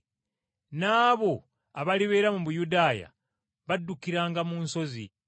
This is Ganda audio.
n’abo abalibeera mu Buyudaaya baddukiranga mu nsozi.